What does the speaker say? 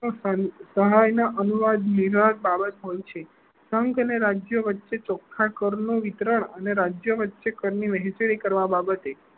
સાહિત્ય ના અનુવાદ બાબત હોય છે સંઘ અને રાજ્યો વચ્ચે ચોખ્ખા કર નું વિતરણ અને રાજ્ય વચ્ચે કર ની વહેચણી કરવા બાબતે